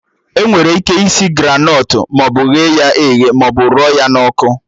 Enwere ike isi Granọt maọbụ ghe ya eghe maọbụ rụọ ya n'ọkụ